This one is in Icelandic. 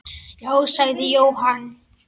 Já, sagði Jóhann.